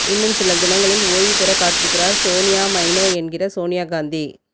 இன்னும் சில தினங்களில் ஓய்வு பெற காத்திருக்கிறார் சோனியா மைனோ என்கிற சோனியா காந்தி